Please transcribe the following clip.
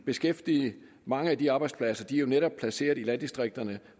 beskæftigede mange af de arbejdspladser er jo netop placeret i landdistrikterne